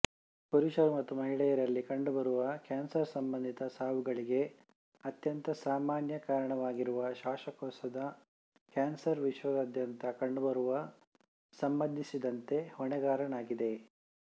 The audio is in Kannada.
ಪುರುಷರು ಮತ್ತು ಮಹಿಳೆಯರಲ್ಲಿ ಕಂಡುಬರುವ ಕ್ಯಾನ್ಸರ್ಸಂಬಂಧಿತ ಸಾವುಗಳಿಗೆ ಅತ್ಯಂತ ಸಾಮಾನ್ಯ ಕಾರಣವಾಗಿರುವ ಶ್ವಾಸಕೋಶದ ಕ್ಯಾನ್ಸರ್ ವಿಶ್ವಾದ್ಯಂತ ಕಂಡುಬರುವ ಸಂಬಂಧಿಸಿದಂತೆ ಹೊಣೆಗಾರನಾಗಿದೆ